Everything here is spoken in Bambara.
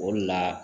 O de la